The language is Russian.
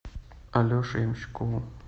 алеше ямщикову